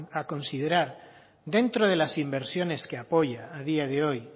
a considerar dentro de las inversiones que apoya a día de hoy